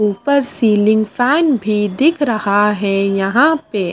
ऊपर ceiling fan भी दिख रहा है यहां पे--